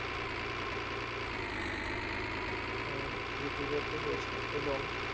আহ লিপিবদ্ধ হয়েছে এবং